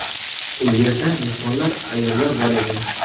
U yerda mehmonlar, ayollar bor edi.